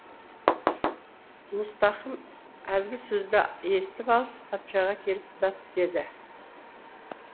мұстақым әлгі сөзді естіп алып патшаға келіп дат деді